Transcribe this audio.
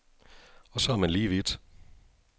Og så er man lige vidt.